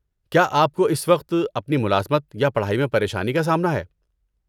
کیا آپ کو اس وقت اپنی ملازمت یا پڑھائی میں پریشانی کا سامنا ہے؟